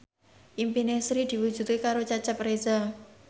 impine Sri diwujudke karo Cecep Reza